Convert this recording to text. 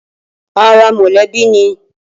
Ara mọlẹbi ni